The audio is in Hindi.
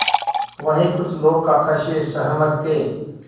वहीं कुछ लोग काका से सहमत थे